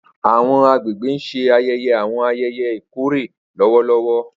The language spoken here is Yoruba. Awọn agbegbe n ṣe ayẹyẹ awọn ayẹyẹ ikore lọwọlọwọ.